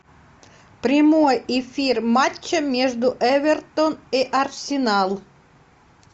прямой эфир матча между эвертон и арсенал